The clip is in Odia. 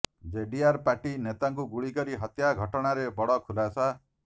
ଜେଡିଆର୍ ପାର୍ଟି ନେତାଙ୍କୁ ଗୁଳି କରି ହତ୍ୟା ଘଟଣାରେ ବଡ଼ ଖୁଲାସା